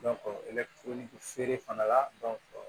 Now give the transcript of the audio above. feere fana la